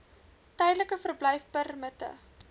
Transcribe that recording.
tydelike verblyfpermitte